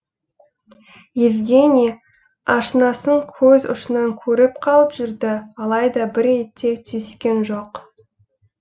евгений ашынасын көз ұшынан көріп қалып жүрді алайда бір ретте түйіскен жоқ